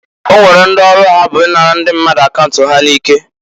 O nwere ndị ọrụ ha bụ i nara ndi mmadụ akaunt ha n'ike.